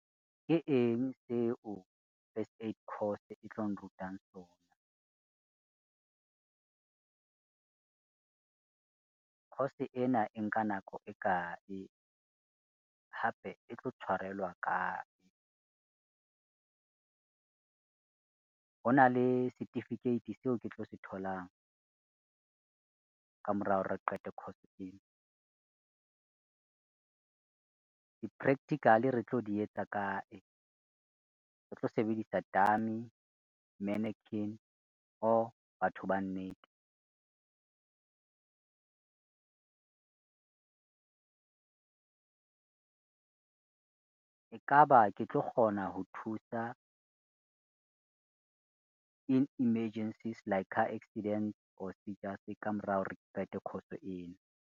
Ke eng seo first aid course e tlo nrutang sona? Coure ena e nka nako e kae hape e tlo tshwarelwa kae? Ho na le certificate seo ke tlo se tholang, ka morao re qete course ena? Di-practical re tlo di etsa kae, re tlo sebedisa dummy, mannequin or batho ba nnete? E ka ba ke tlo kgona ho thusa, in emergencies like car accidents or ka mora hore ke qete course ena?